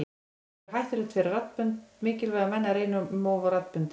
Það getur verið hættulegt fyrir mikilvæga menn að reyna um of á raddböndin.